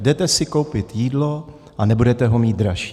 Jdete si koupit jídlo a nebudete ho mít dražší.